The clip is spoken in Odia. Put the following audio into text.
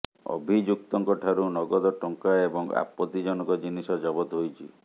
ଅଭିଯୁକ୍ତଙ୍କ ଠାରୁ ନଗଦ ଟଙ୍କା ଏବଂ ଆପତ୍ତିଜନକ ଜିନିଷ ଜବତ ହୋଇଛି